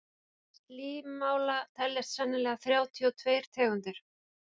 til slímála teljast sennilega þrjátíu og tveir tegundir